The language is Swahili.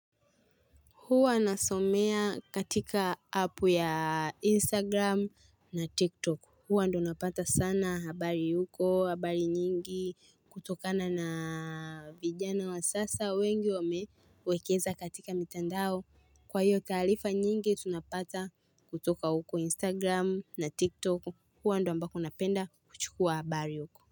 Huwa nasomea katika app ya Instagram na TikTok. Huwa ndio napata sana habari huko, habari nyingi kutokana na vijana wa sasa wengi wamewekeza katika mitandao. Kwa hiyo taarifa nyingi tunapata kutoka huko Instagram na TikTok. Huwa ndio ambako napenda kuchukua habari huko.